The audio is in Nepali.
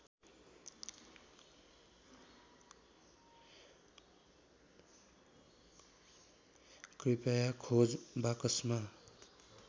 कृपया खोज बाकसमा